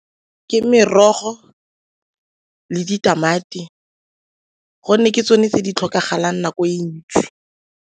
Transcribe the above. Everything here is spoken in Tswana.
Ke merogo le ditamati gonne ke tsone tse di tlhokagalang nako e ntsi.